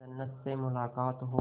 जन्नत से मुलाकात हो